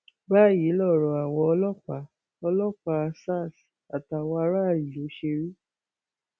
báyìí lọrọ àwọn ọlọpàá ọlọpàá sars àti àwọn aráàlú ṣe rí